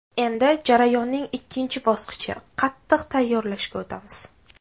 Endi jarayonning ikkinchi bosqichi qatiq tayyorlashga o‘tamiz.